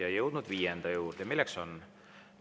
Oleme jõudnud viienda juurde.